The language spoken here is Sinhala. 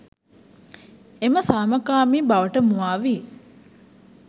එම සාමකාමී බවට මුවා වී